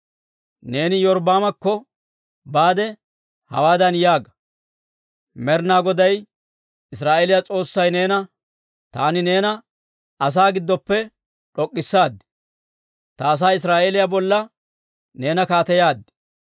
Neeni Iyorbbaamekko baade hawaadan yaaga; ‹Med'inaa Goday Israa'eeliyaa S'oossay neena, «Taani neena asaa giddoppe d'ok'k'issaad; ta asaa Israa'eeliyaa bolla neena kaateyaad.